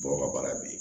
Dɔw ka baara be yen